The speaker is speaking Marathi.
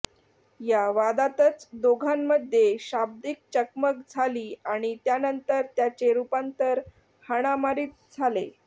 या वादातच दोघांमध्ये शाब्दिक चकमक झाली आणि त्यानंतर त्याचे रूपांतर हाणामारीत झाले